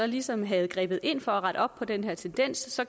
ligesom havde grebet ind for at rette op på den her tendens